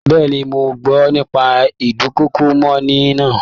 Bẹ́ẹ̀ni, mọ gbọ́ nípa ídùnkokò mọ́'ni náà